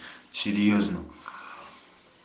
серьёзно